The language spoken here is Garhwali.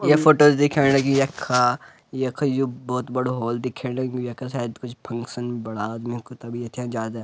ये फोटो दिखेंण लगीं यखा यख यु भोत बड़ु हॉल दिखेण लग्युं यख शायद कुछ फंक्शन बड़ा आदमियों कु तभी यथे ज्यादा --